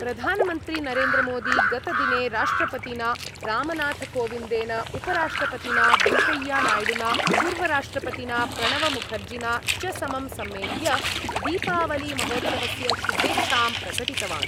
प्रधानमन्त्री नरेन्द्रमोदी गतदिने राष्ट्रपतिना रामनाथकोविन्देन उपराष्ट्रपतिना वेङ्कय्यनाय्डुना पूर्वराष्ट्रपतिना प्रणवमुखर्जिना च समं सम्मेल्य दीपावलीमहोत्सवस्य शुभेच्छां प्रकटितवान्।